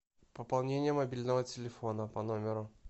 пополнение мобильного телефона по номеру